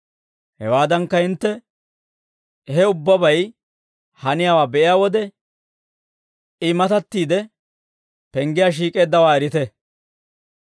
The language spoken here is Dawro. Hawaadankka hintte he ubbabay haniyaawaa be'iyaa wode, I matattiide penggiyaa shiik'eeddawaa erite.